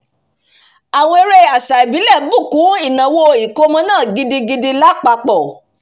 "àwọn eré àṣà ìbílẹ̀ bù kún ìnáwó ìkómọ náà gidigidi lápapọ̀"